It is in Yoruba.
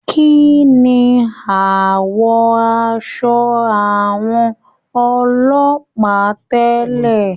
Kínní awọ aṣọ àwọn ọlọ́pàá tẹlẹ?